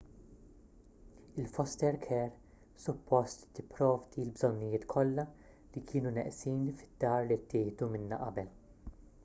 il-foster care suppost tipprovdi l-bżonnijiet kollha li kienu neqsin fid-dar li ttieħdu minnha qabel